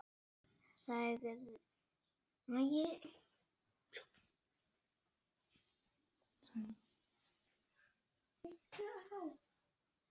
Sagðist ekki trúa mér.